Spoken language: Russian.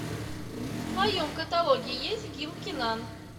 в твоем каталоге есть гил кинан